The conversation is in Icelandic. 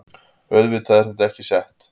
Auðvitað er þetta ekki sett